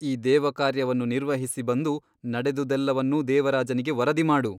ಈ ದೇವಕಾರ್ಯವನ್ನು ನಿರ್ವಹಿಸಿ ಬಂದು ನಡೆದುದೆಲ್ಲವನ್ನೂ ದೇವರಾಜನಿಗೆ ವರದಿ ಮಾಡು.